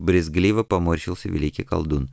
брезгливо поморщился великий колдун